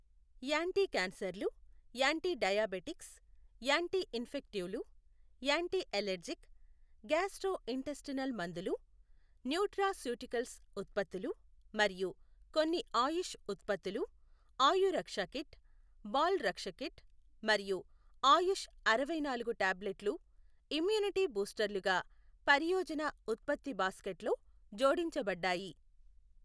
యాంటీకాన్సర్లు, anti diabetics, యాంటీఇన్ఫెక్టివ్లు, antiallergic, gastrointestinal మందులు, nutraceuticals ఉత్పత్తులు మరియు కొన్ని ఆయుష్ ఉత్పత్తులు ఆయురక్ష కిట్, బాల్ రక్ష కిట్ మరియు ఆయుష్ అరవైనాలుగు టాబ్లెట్లు ఇమ్యూనిటీ బూస్టర్లుగా పరియోజన ఉత్పత్తి బాస్కెట్లో జోడించబడ్డాయి.